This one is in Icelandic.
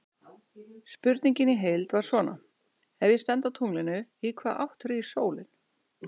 Spurningin í heild var svona: Ef ég stend á tunglinu, í hvaða átt rís sólin?